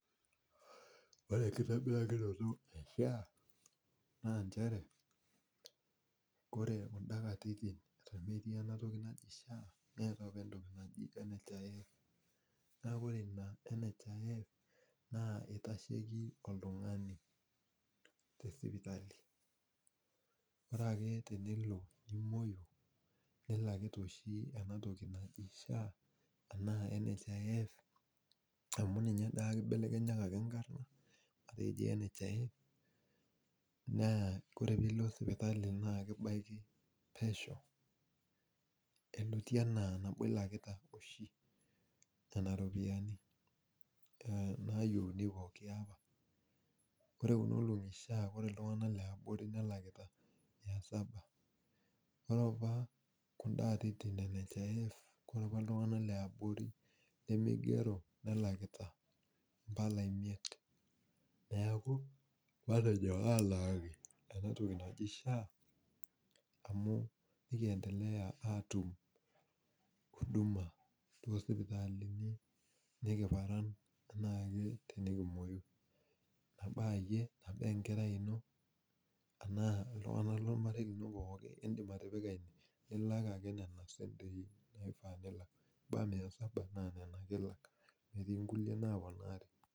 Ore enkitobirakinoto e SHA, naa njere, ore kunda katitin eton metii enatoki naji SHA, neetae apa entoki naji NHIF. Na ore ina NHIF, naa itasheki oltung'ani tesipitali. Ore ake tenilo nimoyu, nilakita oshi enatoki naji SHA enaa NHIF, amu ninye dake ibelekenyakaki nkarn, naa kore pilo sipitali naa kibaki pesho eloitie enaa nabo ilakita oshi nena ropiyiani nayieuni pooki apa, kore kunolong'i SHA kore iltung'anak leabori nelakita mia saba. Ore apa kunda atitin e NHIF, kore apa iltung'anak leabori limigero nelakita impala imiet. Neeku, matejo alaki enatoki naji SHA, amu nikiendelea atum huduma tosipitalini nikiparan enaake tenikimoyu. Nabo ayie, nabo enkerai ino, naa iltung'anak lormarei lino pookin, idim atipika ilak ake nena sentei naifaa pilak. Kebaya mia saba, naa nena ake ilak, metii nkulie naponari.